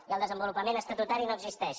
i el desenvolupament estatutari no existeix